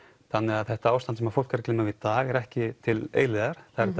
þannig þetta ástand sem fólk er að glíma við í dag er ekki til eilífðar það er